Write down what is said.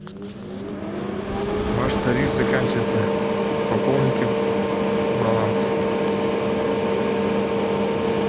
ваш тариф заканчивается пополните баланс